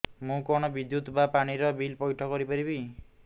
ମୁ କଣ ବିଦ୍ୟୁତ ବା ପାଣି ର ବିଲ ପଇଠ କରି ପାରିବି